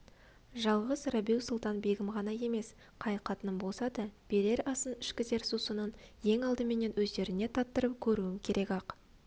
жалғыз рабиу-сұлтан-бегім ғана емес қай қатыным болса да берер асын ішкізер сусынын ең алдыменен өздеріне таттырып көруім керек-ақ